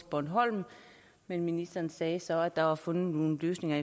bornholm men ministeren sagde så at der var fundet nogle løsninger